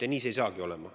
Ja neid ei saagi olema.